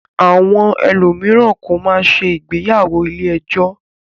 Àwọn ẹlòmíràn kọ̀ máa ń ṣe ìgbéyàwó ilé-ẹjọ́.